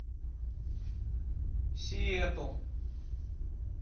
сиэтл